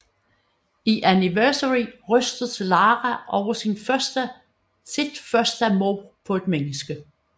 I Anniversary rystes Lara over sit første mord på et menneske